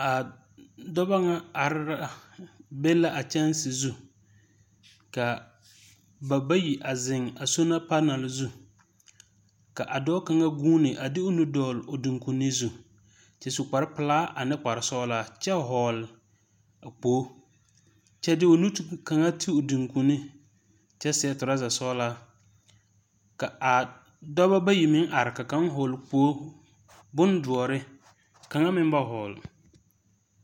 A dɔba ŋa ar a be la a kyanse zu kaa ba bayi a zeŋ a sola panɛl zu. Ka a dɔɔ kaŋa guuni a de o nu dɔgle o doŋkoni zu. Kyɛ su kparpelaa ane kparsɔɔlaa kyɛ hɔɔl a kpoo. Kyɛ de o nu ti o doŋkoni zu kyɛ seɛ tɔrasa sɔɔlaa. Ka a dɔbɔ bayi meŋ are ka kaŋ hɔɔl kpoo, bondoɔre ka kaŋa meŋ ba hɔɔl.